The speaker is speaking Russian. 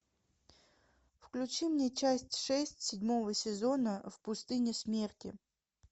включи мне часть шесть седьмого сезона в пустыне смерти